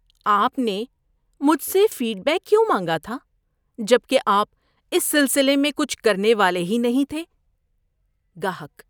آپ نے مجھ سے فیڈ بیک کیوں مانگا تھا جب کہ آپ اس سلسلے میں کچھ کرنے والے ہی نہیں تھے؟ (گاہک)